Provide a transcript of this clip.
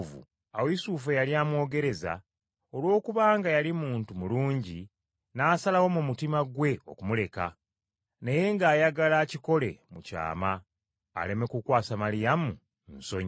Awo Yusufu eyali amwogereza, olwokubanga yali muntu mulungi n’asalawo mu mutima gwe okumuleka, naye ng’ayagala akikole mu kyama aleme kukwasa Maliyamu nsonyi.